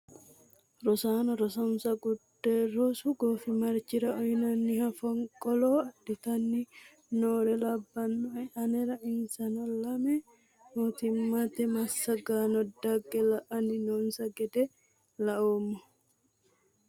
Rosaano rosonnisa gudde rosu gooffimarichira uyinanniha foniqqolo adhittani noore labbanoe anera insano lame mootimate massaggano dagge la'anni noonisa gede la'nnemo